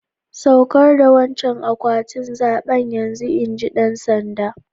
Tsaukar da wancan akwatin zabe yanzun! inji dan sanda'n.